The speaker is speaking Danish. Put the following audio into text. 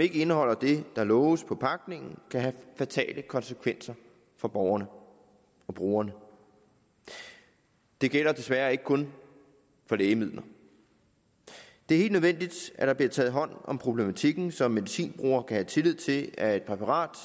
ikke indeholder det der loves på pakningen kan have fatale konsekvenser for borgerne og brugerne det gælder desværre ikke kun for lægemidler det er helt nødvendigt at der bliver taget hånd om problematikken så medicinbrugere kan have tillid til at et præparat